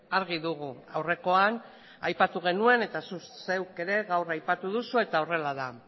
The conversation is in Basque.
argi dugu aurrekoan aipatu genuen eta zuk zeuk ere gaur aipatu duzu eta horrela da